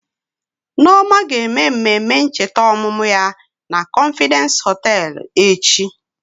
Nneoma ga-eme mmemme ncheta ọmụmụ ya na confidence hoteelu echi.